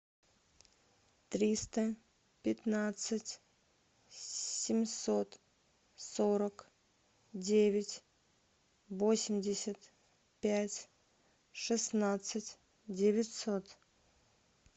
триста пятнадцать семьсот сорок девять восемьдесят пять шестнадцать девятьсот